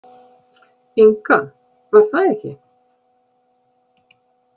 Inga, var það ekki?